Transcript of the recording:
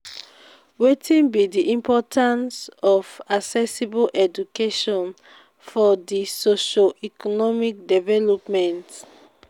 wetin be di importance of accessible education for di socio-economic development?